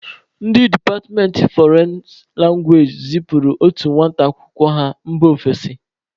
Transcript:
Ndị departmentị fọrịn langwaeji zịpuru otu nwata akwụkwọ ha mba ofesi.